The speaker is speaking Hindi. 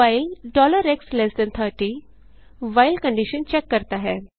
while x30 while condition check करता है